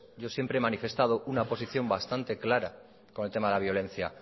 yo siempre he manifestado una posición bastante clara con el tema de la violencia